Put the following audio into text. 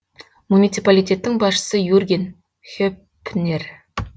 муниципалитеттің басшысы юрген хеппнер